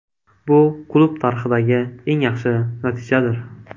Bu klub tarixidagi eng yaxshi natijadir.